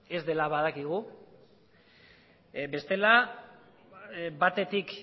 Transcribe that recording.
ez dela badakigu bestela batetik